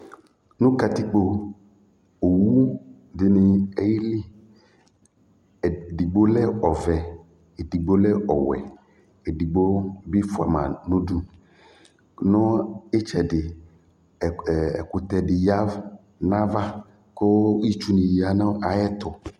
nu katikpo owu dini ke -li edigbo lɛ ɔvɛ, edigbo lɛ ɔwɛ edigbo bi fua mã nu udu nu itchɛɖi ɛkutɛ ɖi yavu nava ku itchu ya na yɛ tu